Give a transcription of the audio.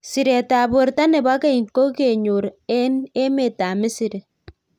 Sireet ab borto nebo keny kokenyor eng emet ab Misri .